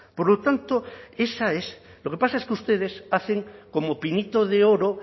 por lo tanto esa es lo que pasa es que ustedes hacen como pinito de oro